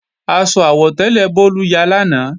Aṣọ àwọ̀tẹ́lẹ̀ Bólú ya lánàá